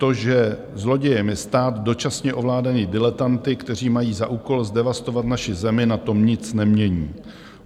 To, že zlodějem je stát dočasně ovládaný diletanty, kteří mají za úkol zdevastovat naši zemi, na tom nic nemění.